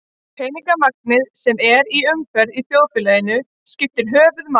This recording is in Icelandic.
Peningamagnið sem er í umferð í þjóðfélaginu skiptir höfuðmáli.